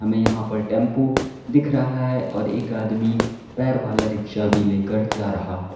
में यहां पर टेंपो दिख रहा है और एक आदमी पैर वाला रिक्शा भी लेकर जा रहा है।